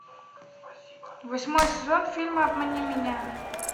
восьмой сезон фильма обмани меня